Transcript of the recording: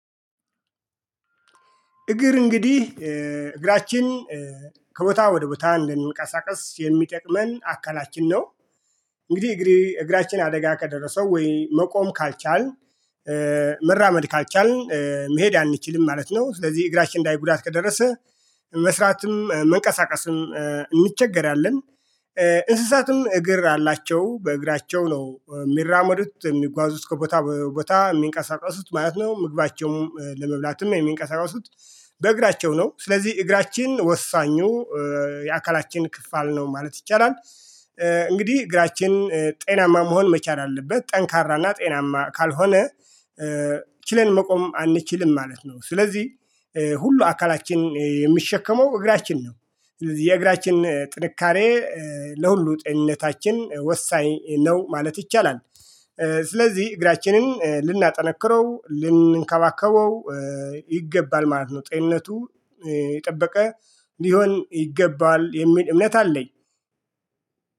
እግር እንግዲህ እግራችን ከቦታ ወደ ቦታ እንድንቀሳቀስ የሚጠቅመን አካላችን ነው። እንግዲህ እግሬ እግራችን አደጋ ከደረሰው ወይ መቆም ካልቻልን። መራመድ ካልቻልን መሄድ አንችልም ማለት ነው። ስለዚህ እግራችን ላይ ጉዳት ከደረሰ መስራትም መንቀሳቀስም እንቸገራለን። እንስሳትም እግር አላቸው በእግራቸው ነው የሚራመዱት የሚጓዙት ከቦታ ቦታ የሚንቀሳቀሱት ማለት ነው። ምግባቸውም ለመብላትም የሚንቀሳቀሱት በእግራቸው ነው። ስለዚህ እግራችን ወሳኙ የአካላችን ክፍል ነው ማለት ይቻላል። እንግዲህ እግራችን ጤናማ መሆን መቻል አለበት ጠንካራና ጤናማ ካልሆነ ችለን መቆም አንችልም ማለት ነው። ስለዚህ ሁሉ አካላችን የሚሸከመው እግራችን ነው። የእግራችን ጥንካሬ ለሁሉ ጤንነታችን ወሳኝ ነው ማለት ይቻላል። ስለዚህ እግራችንን ልናጠነክረው ልንከባከበው ይገባል ማለት ነው። ጤንነቱ የጠበቀ ሊሆን ይገባል የሚል እምነት አለኝ።